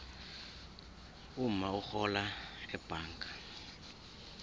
umma urhola ebhanga